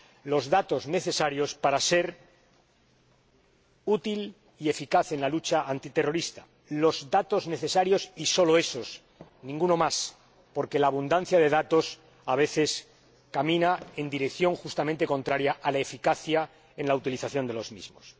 los datos necesarios en aras de la utilidad y la eficacia en la lucha antiterrorista los datos necesarios y solo esos, ninguno más, porque la abundancia de datos, a veces, camina en dirección justamente contraria a la de la eficacia en la utilización de los mismos.